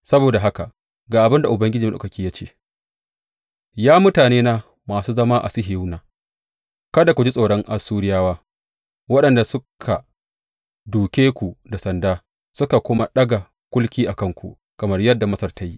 Saboda haka, ga abin da Ubangiji Maɗaukaki ya ce, Ya mutanena masu zama a Sihiyona, kada ku ji tsoron Assuriyawa, waɗanda suka dūke ku da sanda suka kuma ɗaga kulki a kanku, kamar yadda Masar ta yi.